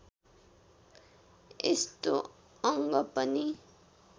यस्तो अङ्ग पनि